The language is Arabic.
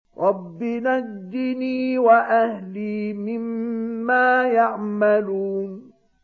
رَبِّ نَجِّنِي وَأَهْلِي مِمَّا يَعْمَلُونَ